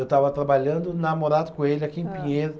Eu estava trabalhando na Morato Coelho, aqui em Pinheiros.